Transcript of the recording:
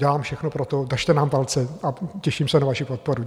Dělám všechno pro to, držte nám palce a těším se na vaši podporu.